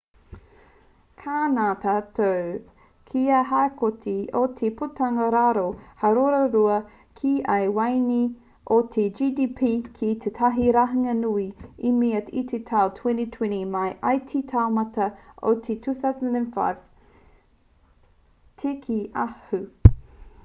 ka ngana tātou kia haukoti i te putanga waro hāora-rua ki ia waeine o te gdp ki tētahi rahinga nui i mua i te tau 2020 mai i te taumata o te tau 2005 te kī a hu